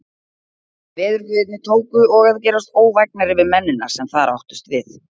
Veðurguðirnir tóku og að gerast óvægnari við mennina, sem þar áttust við.